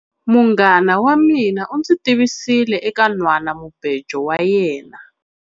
Munghana wa mina u ndzi tivisile eka nhwanamubejo wa yena.